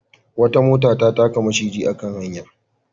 Wata mota ta taka maciji a kan hanya.